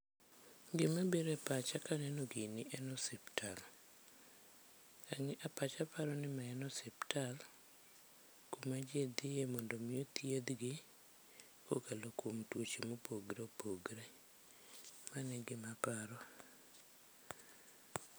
Gima biro e pacha kaneno gini en osiptal. Pacha paro ni en osiptal maji dhiye mon do mi othiedhgi kokalo kuom tuoche mopogre opogre. Mano e gima aparo.